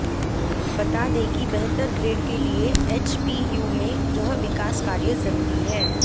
बता दें कि बेहतर ग्रेड के लिए एचपीयू में यह विकास कार्य जरूरी हैं